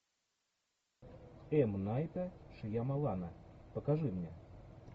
м найта шьямалана покажи мне